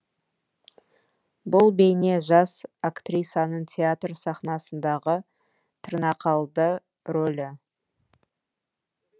бұл бейне жас актрисаның театр сахнасындағы тырнақалды рөлі